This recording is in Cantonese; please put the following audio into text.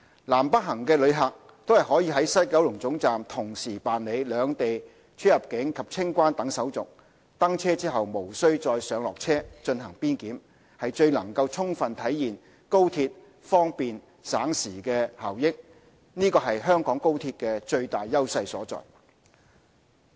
南北行的旅客均可於西九龍總站同時辦理兩地出入境及清關等手續，登車後無須再上落車進行邊檢，能充分體現高鐵方便省時的效益，是香港高鐵最大優勢所在。